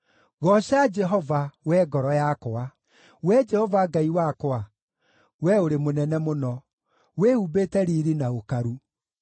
Gooca Jehova, wee ngoro yakwa. Wee Jehova Ngai wakwa, Wee ũrĩ mũnene mũno; wĩhumbĩte riiri na ũkaru.